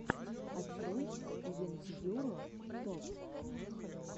открой ендьюро топ